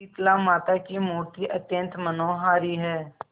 शीतलामाता की मूर्ति अत्यंत मनोहारी है